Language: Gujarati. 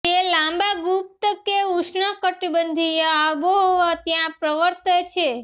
તે લાંબા ગુપ્ત કે ઉષ્ણકટિબંધીય આબોહવા ત્યાં પ્રવર્તે છે